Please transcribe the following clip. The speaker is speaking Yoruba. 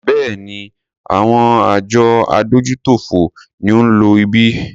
Béèni, àwọn àjọ adójútòfò ni ó ń lo ibí.